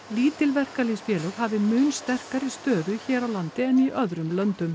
lítil verkalýðsfélög hafi mun sterkari stöðu hér á landi en í öðrum löndum